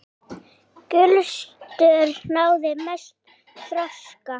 Gulstör náði mestum þroska.